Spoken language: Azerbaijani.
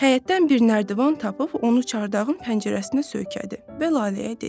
Həyətdən bir nərdivan tapıb onu çardağın pəncərəsinə söykədi və Laləyə dedi: